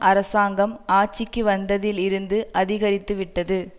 அரசாங்கம் ஆட்சிக்கு வந்ததில் இருந்து அதிகரித்துவிட்டது